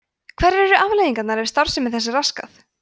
hverjar eru afleiðingarnar ef starfsemi þess er raskað